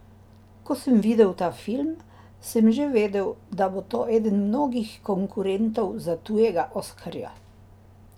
Ko sem videl ta film, sem že vedel, da bo to eden mnogih konkurentov za tujega oskarja.